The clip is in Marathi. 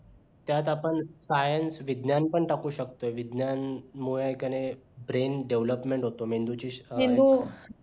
त्यात आपण science विज्ञान पण टाकू शकतो विज्ञानमुळे हाय कि नाय brain development होतो मेंदूची